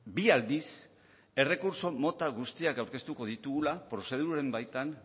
bi aldiz errekurtso mota guztiak aurkeztuko ditugula prozeduren baitan